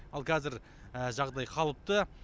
ал қазір жағдай қалыпты